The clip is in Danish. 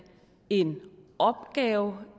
er en opgave